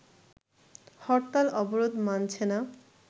হরতাল-অবরোধ মানছে না